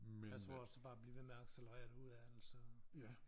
Jeg tror også det bare bliver ved med at accelerere derudaf altså